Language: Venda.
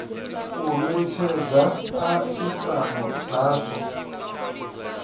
u netshedza a isano dzazwo